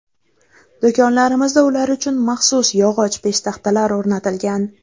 Do‘konlarimizda ular uchun maxsus yog‘och peshtaxtalar o‘rnatilgan.